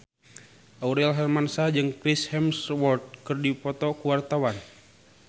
Aurel Hermansyah jeung Chris Hemsworth keur dipoto ku wartawan